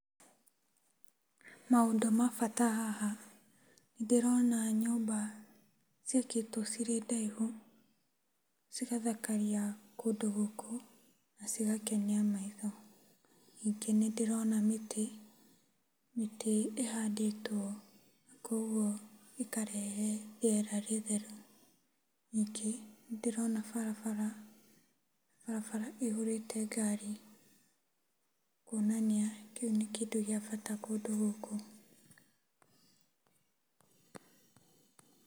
Maũndũ ma bata haha, ndĩrona nyũmba ciakĩtwo cirĩ ndaihu cigathakaria kũndũ gũkũ na cigakenia maitho. Nyingĩ nĩndĩrona mĩtĩ, mĩtĩ ĩhandĩtwo, kuogwo ĩkarehe rĩera rĩtheru, nyingĩ nĩndĩrona barabara, barabara ĩihũrĩte ngari, kwonania kĩu nĩkĩndũ gĩa bata kũndũ gũkũ.